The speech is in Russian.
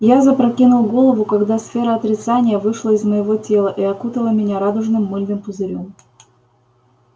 я запрокинул голову когда сфера отрицания вышла из моего тела и окутала меня радужным мыльным пузырём